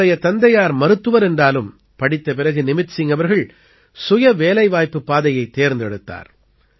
இவருடைய தந்தையார் மருத்துவர் என்றாலும் படித்த பிறகு நிமித் சிங் அவர்கள் சுயவேலைவாய்ப்புப் பாதையைத் தேர்ந்தெடுத்தார்